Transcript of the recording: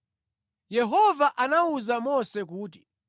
Yehova anawuza Mose kuti,